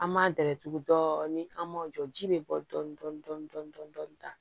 An m'a dayɛlɛ tugu dɔɔni an m'o jɔ ji bɛ bɔ dɔɔnin dɔɔnin tan